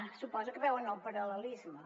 suposo que hi veuen el paral·lelisme